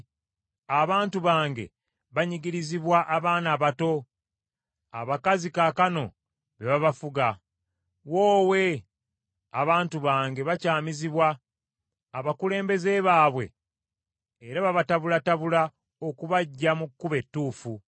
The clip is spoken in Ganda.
Abantu bange banyigirizibwa abaana abato, abakazi kaakano be babafuga. Woowe! Abantu bange bakyamizibwa abakulembeze baabwe era babatabulatabula okubaggya mu kkubo ettuufu.